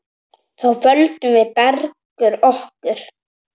Þá földum við Bergur okkur.